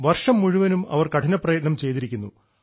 വർഷം മുഴുവനും അവർ കഠിനപ്രയത്നം ചെയ്തിരിക്കുന്നു